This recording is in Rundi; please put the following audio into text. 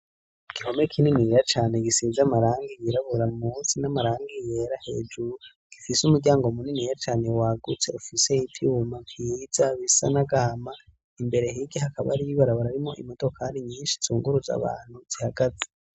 Igihome kininiya cane, gisize amarangi yirabura munsi, n'amarangi yera hejuru, gifise umuryango muniniya cane wagutse, ufise ivyuma vyiza bisa n'agahama, imbere hirya hakaba hari ibarabara ririmwo imodokari nyinshi, zunguruza abantu zihagaze.